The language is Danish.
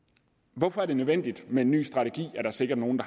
hvorfor er det nødvendigt med en ny strategi er der sikkert nogen